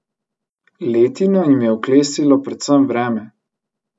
Letino jim je oklestilo predvsem vreme.